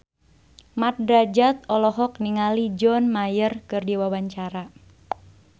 Mat Drajat olohok ningali John Mayer keur diwawancara